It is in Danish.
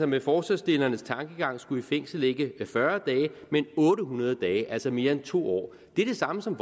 med forslagsstillernes tankegang skulle i fængsel ikke fyrre dage men otte hundrede dage altså mere end to år det er det samme som